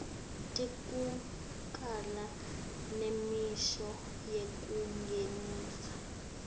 tekucala nemisho yekungenisa